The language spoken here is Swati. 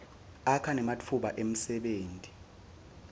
akha nematfuba emsebenti